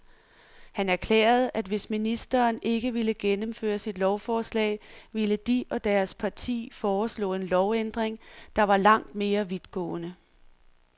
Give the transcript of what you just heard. Han erklærede, at hvis ministeren ikke ville gennemføre sit lovforlag, ville de og deres parti foreslå en lovændring, der var langt mere vidtgående.